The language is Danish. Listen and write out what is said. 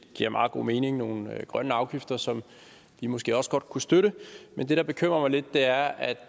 giver meget god mening nogle grønne afgifter som vi måske også godt kunne støtte men det der bekymrer mig lidt er at